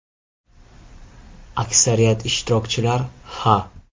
Aksariyat ishtirokchilar “Ha!